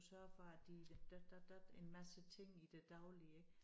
Sørge for at de dat dat dat en masse ting i det daglige ik